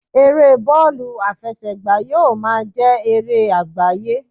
Eré bọọlu afesegba yíò ma jé eré agbaye